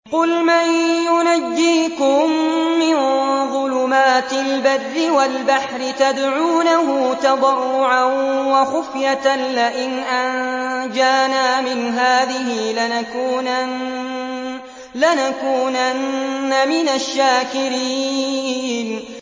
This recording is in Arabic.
قُلْ مَن يُنَجِّيكُم مِّن ظُلُمَاتِ الْبَرِّ وَالْبَحْرِ تَدْعُونَهُ تَضَرُّعًا وَخُفْيَةً لَّئِنْ أَنجَانَا مِنْ هَٰذِهِ لَنَكُونَنَّ مِنَ الشَّاكِرِينَ